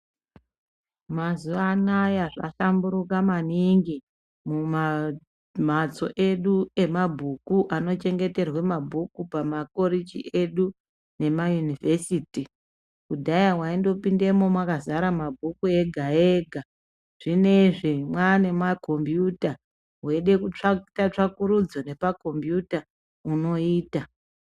Mazuva anaya zvakahlamburuka maningi muma mhatso edu emabhuku anochengeterwe mabhuku pamakoriji edu nemayunivhesiti kudhaya waindopindemwo mwakazara mabhuku ega ega zvinezvi mwaane makombuyuta weyide kuita kutsvakurudza nepakombuyuta unoita.